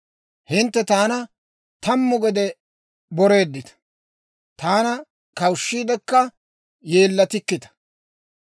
Hintte taana tammu gede boreedditta; taana kawushshiiddikka yeellatikkita.